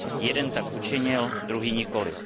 Jeden tak učinil, druhý nikoli.